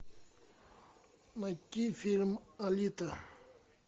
найти фильм алита